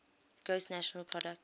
gross national product